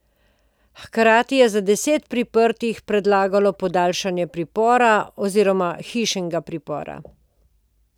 Hkrati je za deset priprtih predlagalo podaljšanje pripora oziroma hišnega pripora.